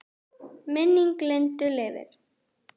Minning Lindu lifir.